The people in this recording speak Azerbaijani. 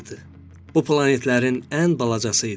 Bu planetlərin ən balacası idi.